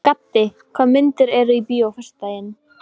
Úr lokuðu herbergi bárust hroturnar í pabba.